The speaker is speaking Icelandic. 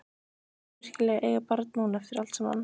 Vildi hún virkilega eiga barn núna, eftir allt saman?